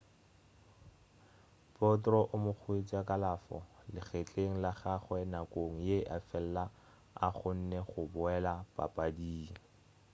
potro o amogetše kalafo legetleng la gagwe nakong ye efela o kgonne go boela papading